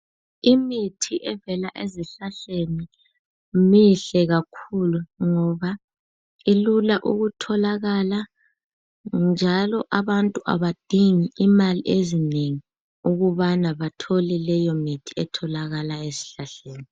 Imithi evela ezihlahleni mihle kakhulu ngoba ilula ukutholakala njalo abantu abadingi imali ezinengi ukubana bathole leyo mithi etholakala esihlahleni .